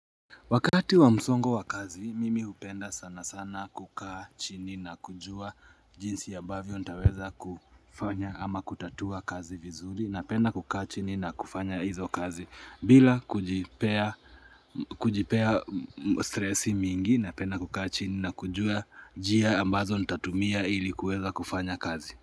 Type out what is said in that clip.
Wakati wa msongo wa kazi, mimi hupenda sana sana kukaa chini na kujua jinsi abavyo nitaweza kufanya ama kutatua kazi vizuri na penda kukaa chini na kufanya hizo kazi. Bila kujipea stressi mingi na penda kukachini na kujua jia ambazo nitatumia ilikuweza kufanya kazi.